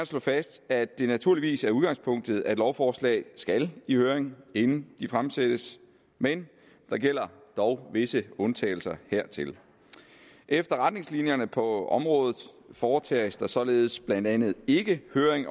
slå fast at det naturligvis er udgangspunktet at lovforslag skal i høring inden de fremsættes men der gælder dog visse undtagelser hertil efter retningslinjerne på området foretages der således blandt andet ikke høring